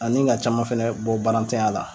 Ani ka caman fɛnɛ bɔ baaratanya la.